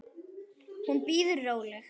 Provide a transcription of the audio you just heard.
Hún bíður róleg.